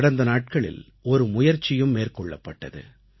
கடந்த நாட்களில் ஒரு முயற்சியும் மேற்கொள்ளப்பட்டது